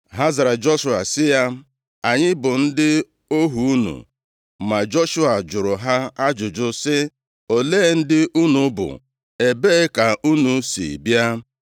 Ha zara Joshua sị ya, “Anyị bụ ndị ohu unu.” Ma Joshua jụrụ ha ajụjụ sị, “Olee ndị unu bụ? Ebee ka unu si bịa?”